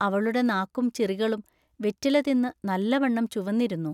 അവളുടെ നാക്കും ചിറികളും വെറ്റിലതിന്നു നല്ലവണ്ണം ചുവന്നിരുന്നു.